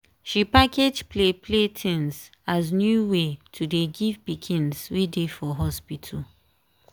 she package play play tins as new way to dey give pikins wey dey for hospital.